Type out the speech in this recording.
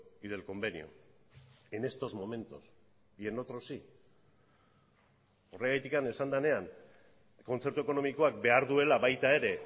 y del convenio en estos momentos y en otros sí horregatik esan denean kontzertu ekonomikoak behar duela baita ere